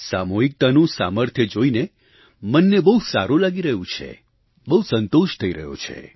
સામૂહિકતાનું સામર્થ્ય જોઈને મનને બહુ સારું લાગી રહ્યું છે બહુ સંતોષ થઈ રહ્યો છે